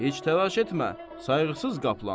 Heç təlaş etmə, sayğısız qaplan.